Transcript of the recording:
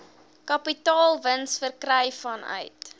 kapitaalwins verkry vanuit